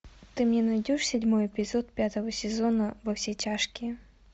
ты мне найдешь седьмой эпизод пятого сезона во все тяжкие